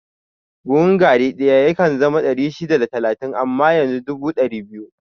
Buhun gari ɗaya yakan zama ɗari shida da talatin amma yanzu dubu da ɗari biyu